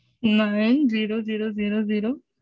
nine zero zero zero zero